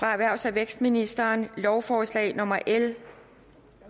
erhvervs og vækstministeren lovforslag nummer l